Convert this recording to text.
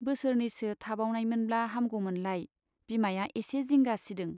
बोसोरनैसो थाबावनायमोनब्ला हामगौमोनलाय बिमाया एसे जिंगा सिदों।